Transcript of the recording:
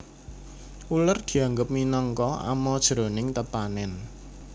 Uler dianggep minangka ama jroning tetanèn